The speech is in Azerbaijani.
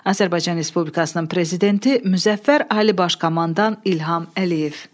Azərbaycan Respublikasının Prezidenti Müzəffər Ali Baş Komandan İlham Əliyev.